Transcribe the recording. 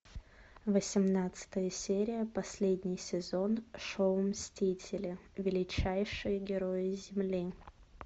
восемнадцатая серия последний сезон шоу мстители величайшие герои земли